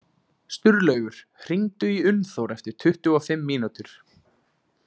Sturlaugur, hringdu í Unnþór eftir tuttugu og fimm mínútur.